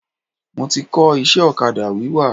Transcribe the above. Mo ti kọ́ iṣẹ́ ọ̀kadà wíwà.